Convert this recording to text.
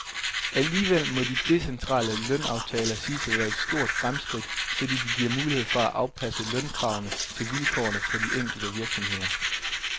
Alligevel må de decentrale lønaftaler siges at være et stort fremskridt, fordi de giver mulighed for at afpasse lønkravene til vilkårene på de enkelte virksomheder.